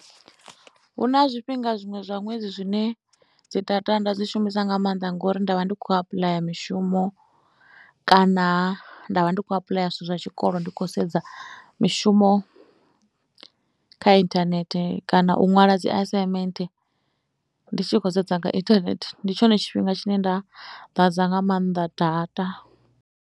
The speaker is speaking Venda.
Hu na zwifhinga zwiṅwe zwa ṅwedzi zwine dzi data nda dzi shumisa nga maanḓa ngori nda vha ndi khou apuḽaya mishumo kana nda vha ndi khou apuḽaya zwithu zwa tshikolo, ndi khou sedza mishumo kha inthanethe kana u ṅwala dzi assignment ndi tshi khou sedza nga intahnethe. Ndi tshone tshifhinga tshine nda ḓadza nga maanḓa data.